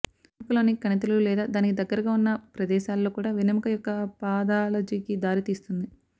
వెన్నెముకలోని కణితులు లేదా దానికి దగ్గరగా ఉన్న ప్రదేశాలలో కూడా వెన్నెముక యొక్క పాథాలజీకి దారి తీస్తుంది